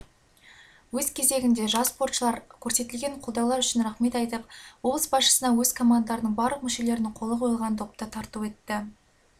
өз кезегінде жас спортшылар көрсетілген қолдаулар үшін рахмет айтып облыс басшысына өз командаларының барлық мүшелерінің қолы қойылған допты сыйға тартты